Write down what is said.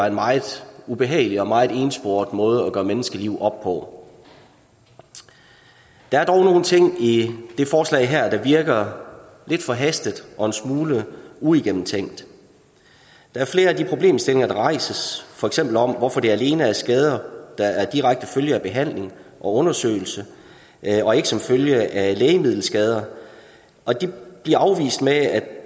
en meget ubehagelig og meget ensporet måde at gøre menneskeliv op på der er dog nogle ting i det forslag her der virker lidt forhastet og en smule uigennemtænkt der er flere af de problemstillinger der rejses for eksempel om hvorfor det alene er skader der er sket som direkte følge af behandling og undersøgelse og ikke som følge af lægemiddelskader og det bliver afvist med at